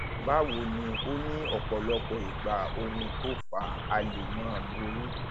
báwo ni o ní ọpọlọpọ ìgbà ohun tó fà á lè máà burú